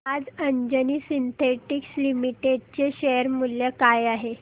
आज Anjani synthetics limited चे share मूल्य काय आहे